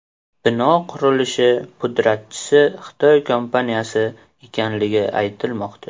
Bino qurilishi pudratchisi Xitoy kompaniyasi ekanligi aytilmoqda.